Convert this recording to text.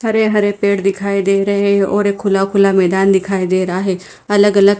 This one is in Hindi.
हरे हरे पेड़ दिखाई दे रहे है और एक खुला खुला मैदान दिखाई दे रहा है अलग अलग--